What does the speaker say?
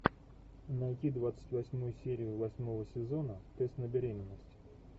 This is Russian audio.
найти двадцать восьмую серию восьмого сезона тест на беременность